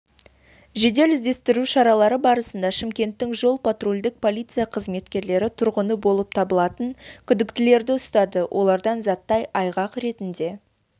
жедел-іздесітру шаралары барысында шымкенттің жол-патрульдік полиция қызметкерлері тұрғыны болып табылатын күдіктілерді ұстады олардан заттай айғақ ретінде